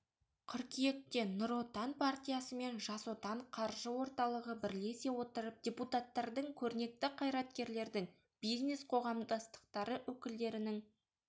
қыркүйекте нұр отан партиясы мен жас отан қаржы орталығы бірлесе отырып депутаттардың көрнекті қайраткерлердің бизнес-қоғамдастықтары өкілдерінің